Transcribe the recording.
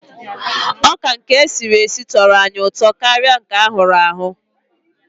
Ọka nke esiri esi tọrọ anyị ụtọ karịa nke a hụrụ ahụ.